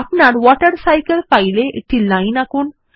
আপনার my water cycle file এ একটি লাইন আঁকুন